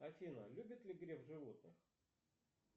афина любит ли греф животных